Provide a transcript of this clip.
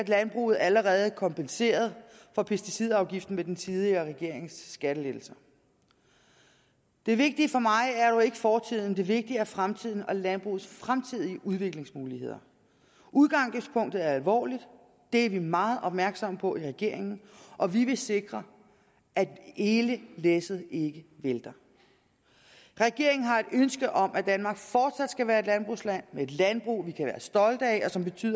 landbruget allerede kompenseret for pesticidafgiften ved den tidligere regerings skattelettelser det vigtige for mig er dog ikke fortiden det vigtige er fremtiden og landbrugets fremtidige udviklingsmuligheder udgangspunktet er alvorligt det er vi meget opmærksom på i regeringen og vi vil sikre at hele læsset ikke vælter regeringen har et ønske om at danmark fortsat skal være et landbrugsland med et landbrug vi kan være stolte af